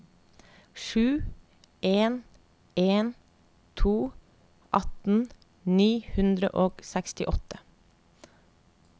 sju en en to atten ni hundre og sekstiåtte